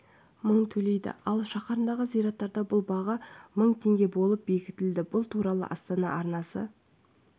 мың төлейді ал шаһардағы зираттарда бұл баға мың теңге болып бекітілді бұл туралы астана арнасы